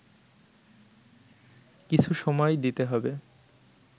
কিছু সময় দিতে হবে